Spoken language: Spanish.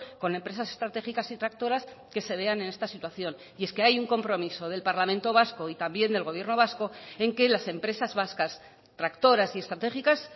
con empresas estratégicas y tractoras que se vean en esta situación y es que hay un compromiso del parlamento vasco y también del gobierno vasco en que las empresas vascas tractoras y estratégicas